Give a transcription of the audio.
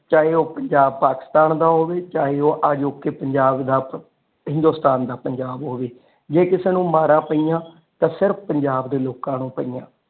ਚਾਹੇ ਉਹ ਪੰਜਾਬ ਪਾਕਿਸਤਾਨ ਦਾ ਹੋਵੇ ਚਾਹੇ ਉਹ ਅਜੋਕੇ ਪੰਜਾਬ ਦਾ ਹਿੰਦੁਸਤਾਨ ਦਾ ਪੰਜਾਬ ਹੋਵੇ ਜੇ ਕਿਸੇ ਨੂੰ ਮਾਰਾ ਪਈਆਂ ਤੇ ਫਿਰ ਪੰਜਾਬ ਦੇ ਲੋਕ ਨੂੰ ਪਈਆਂ।